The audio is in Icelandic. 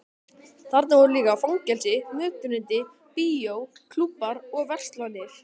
Þarna voru líka fangelsi, mötuneyti, bíó, klúbbar og verslanir.